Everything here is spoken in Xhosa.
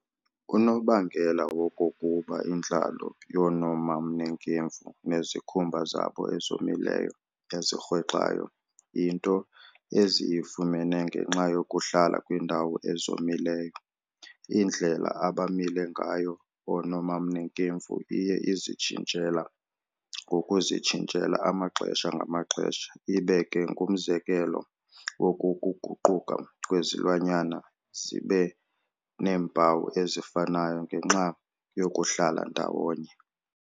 Unobangela wokokuba intlalo yoonomamnekemfu, nezikhumba zabo ezomileyo, ezirhwexayo, yinto eziyifumene ngenxa yokuhlala kwiindawo ezomileyo. Indlela abamile ngayo oonomamnekemfu iye izitshintshela ngokuzitshintshela amaxesha-ngamaxesha, ibe ke ngumzekelo woku kuguquka kwezilwanyana zibe neempawu ezifanayo ngenxa yokuhlala ndawonye.